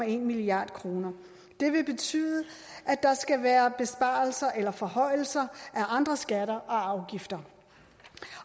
en milliard kroner det vil betyde at der skal være besparelser eller forhøjelser af andre skatter og afgifter